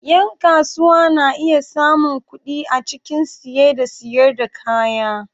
Yan kasuwa na iya samun kuɗi A cikin siye da siyar da kaya.